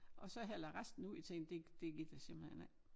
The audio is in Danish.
Og så hælder jeg resten ud jeg tænkte det det gider jeg simpelthen ikke